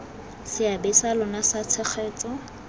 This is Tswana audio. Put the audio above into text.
seabe sa lona sa tshegetso